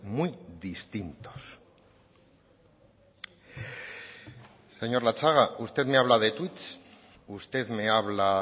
muy distintos señor latxaga usted me habla de tuit usted me habla